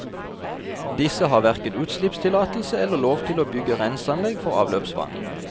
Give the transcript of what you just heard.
Disse har hverken utslippstillatelse eller lov til å bygge renseanlegg for avløpsvann.